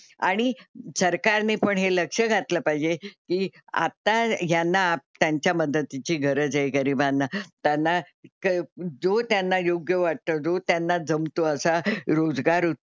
आणि सरकारने पण हे लक्ष घातलं पाहिजे की आता यांना त्यांच्या मदतीची गरज आहे गरीबांना. त्यांना जो त्यांना योग्य वाटतो जो त्यांना जमतो असा रोजगार,